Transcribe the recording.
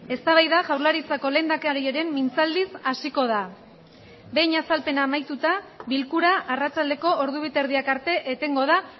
eztabaida jaurlaritzako lehendakariaren mintzaldiz hasiko da behin azalpena amaituta bilkura arratsaldeko ordu bi eta erdiak arte etengo da